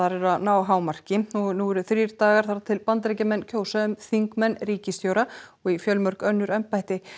er að ná hámarki en nú eru þrír dagar þar til Bandaríkjamenn kjósa um þingmenn ríkisstjóra og í fjölmörg önnur embætti